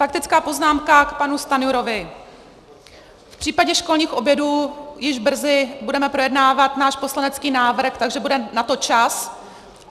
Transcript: Faktická poznámka k panu Stanjurovi: V případě školních obědů již brzy budeme projednávat náš poslanecký návrh, takže bude na to čas.